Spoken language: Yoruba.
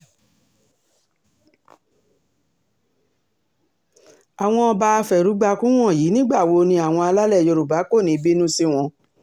àwọn ọba afẹrúgbàkun wọ̀nyí nígbà wo ni àwọn alálẹ̀ yorùbá kò ní í bínú sí wọn